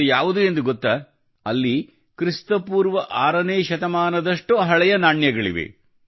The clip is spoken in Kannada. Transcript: ಅದು ಯಾವುದು ಎಂದು ಗೊತ್ತಾ ಅಲ್ಲಿ ಕ್ರಿಸ್ತ ಪೂರ್ವ 6ನೇ ಶತಮಾನದಷ್ಟು ಹಳೆಯ ನಾಣ್ಯಗಳು ಇವೆ